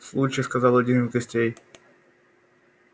случай сказал один из гостей